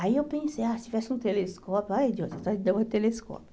Aí eu pensei, ah, se tivesse um telescópio, ai, Deus, vontade de ter um telescópio.